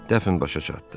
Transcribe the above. Dəfn başa çatdı.